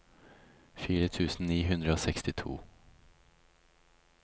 fire tusen ni hundre og sekstito